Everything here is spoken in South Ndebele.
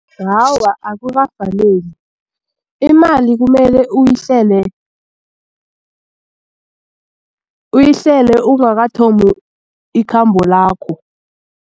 Awa, akukafaneli imali kumele uyihlele uyihlele ungakathomi ikhambo lakho.